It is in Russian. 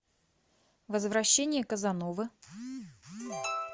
возвращение казановы